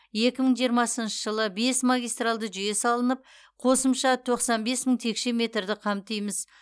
екі мың жиырмасыншы жылы бес магистралды жүйе салынып қосымша тоқсан бес мың текше метрді қамтимыз